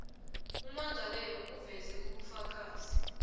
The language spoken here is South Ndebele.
ummangalelwa aveze ubufakazi